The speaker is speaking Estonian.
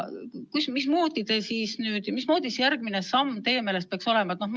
Milline siis järgmine samm teie meelest peaks olema?